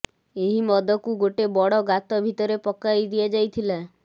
ଏହି ମଦକୁ ଗୋଟେ ବଡ ଗାତ ଭିତରେ ପକାଇ ଦିଆଯାଇଥିଲା